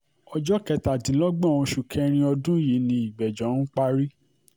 ọjọ́ kẹtàdínlọ́gbọ̀n oṣù kẹrin ọdún yìí ni ìgbẹ́jọ́ um parí